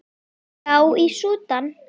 Já, í Súdan.